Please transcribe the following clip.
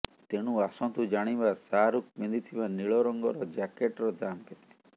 ତେଣୁ ଆସନ୍ତୁ ଜାଣିବା ଶାହରୁଖ ପିନ୍ଧିଥିବା ନୀଳ ରଙ୍ଗର ଜ୍ୟାକେଟର ଦାମ କେତେ